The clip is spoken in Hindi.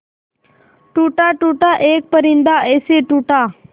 टूटा टूटा एक परिंदा ऐसे टूटा